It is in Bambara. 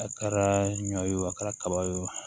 A kɛra ɲɔ ye o a kɛra kaba ye o